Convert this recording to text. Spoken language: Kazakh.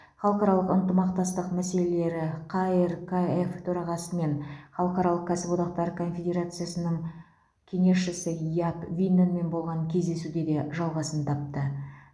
халықаралық ынтымақтастық мәселелері қркф төрағасы мен халықаралық кәсіподақтар конфедерациясының кеңесшісі яп винненмен болған кездесуде де жалғасын тапты